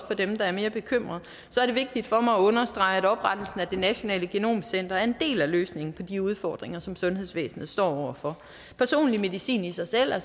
for dem der er mere bekymrede så er det vigtigt for mig at understrege at oprettelsen af det nationale genomcenter er en del af løsningen på de udfordringer som sundhedsvæsenet står over for personlig medicin i sig selv er